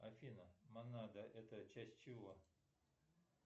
афина монада это часть чего